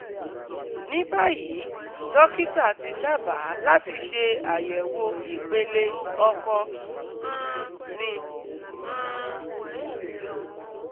Ní báyìí, dókítà ti dábàá láti ṣe àyẹ̀wò ìpele ọkọ um mi um